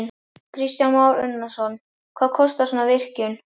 Kristján Már Unnarsson: Hvað kostar svona virkjun?